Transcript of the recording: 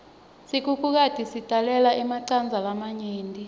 sikhukhukati sitalele emacandza lamanengi